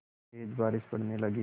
तेज़ बारिश पड़ने लगी